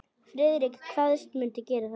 Friðrik kvaðst mundu gera það.